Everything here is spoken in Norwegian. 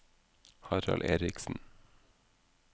Harald Erichsen